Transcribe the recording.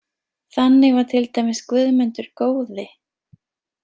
Þannig var til dæmis Guðmundur góði.